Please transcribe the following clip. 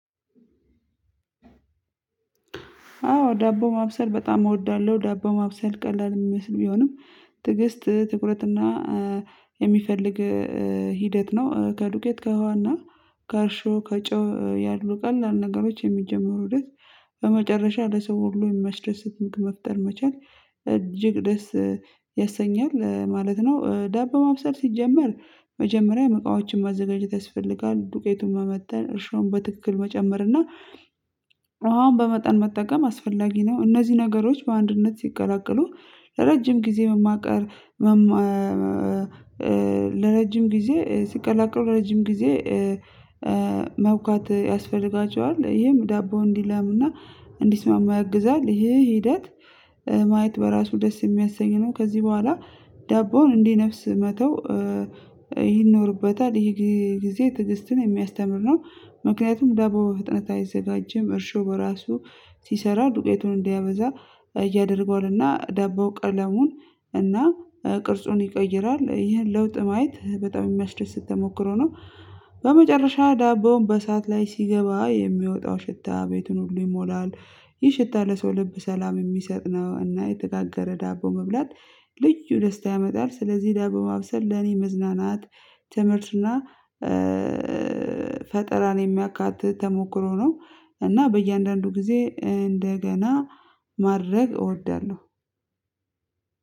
አዎ ዳቦ ማብሰል በጣም እወዳለሁ። ዳቦ ማብሰል ቀላል የሚመስል ቢሆንም ትዕግስት ትኩረት እና የሚፈልግ ሂደት ነው። ከዱቄት ከህዋና ከአርሾ ከጨው ያሉ ቀላል ነገሮች የሚጀመሩ ድረስ በመጨረሻ ለሰው ሁሉ የማስደሰት መፍጠር መቻል እጅግ ደስ ያሰኛል ማለት ነው። ዳቦ ማብሰል ሲጀመር መጀመሪያ መቃዎችን ማዘጋጀት ያስፈልጋል ዱቄቱን መመተን እርሾን በትክክል መጨመር እና መሃን በመጠን መጠቀም አስፈላጊ ነው። እነዚህ ነገሮች በአንድነት ሲቀላቀሉ ረጅም ጊዜ መማቀር መማ ለረጅም ጊዜ ሲቀላቀሉ ረጅም ጊዜ መውጋት ያስፈልጋቸዋል ይሄም ዳቦው እንዲለምና እንዲስማማ ያግዛል። ይሄ ሂደት ማየት በራሱ ደስ የሚያሰኝ ነው። ከዚህ በኋላ ዳቦውን እንዴ ነፍስ መተው ይኖርበታል ይሄ ጊዜ ትዕግስትን የሚያስተምር ነው። ምክንያቱም ደቦ ፍጥነት አይዘጋጅም እርሾ በራሱ ሲሰራ ዱቄቱን እንዲያበዛ እያደረገው እና ዳቦ ቀለሙን እና ቅርጹን ይቀይራል ይህን ለውጥ ማየት በጣም የሚያስደስት ተሞክሮ ነው። በመጨረሻ ዳቦውን በሰአት ላይ ሲገባ የሚወጣው ሽታ ቤቱን ሁሉ ይሞላል ይህ ሽታ ለሰው ልብ ሰላም የሚሰጥ ነው። እና የተጋገረ ዳቦ መብላት ልዩ ደስታ ያመጣል። ስለዚህ ዳቦ ማብሰል ለኔ መዝናናት ትምህርትና ፈጠራን የሚያካትህ ተሞክሮ ነው። እና በእያንዳንዱ ጊዜ እንደገና ማድረግ እወዳለሁ።